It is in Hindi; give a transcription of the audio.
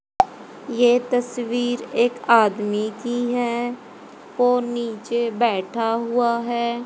ये तस्वीर एक आदमी की है वो नीचे बैठा हुआ है।